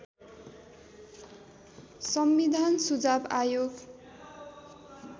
संविधान सुझाव आयोग